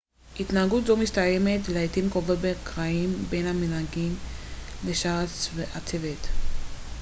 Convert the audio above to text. התנהגות זו מסתיימת לעתים קרובות בקרעים בין המנהיגים לשאר הצוות